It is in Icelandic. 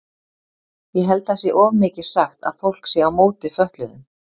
Ég held það sé of mikið sagt að fólk sé á móti fötluðum.